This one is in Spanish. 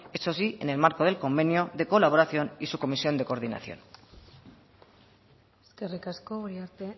uned eso sí en el marco del convenio de colaboración y su comisión de coordinación eskerrik asko uriarte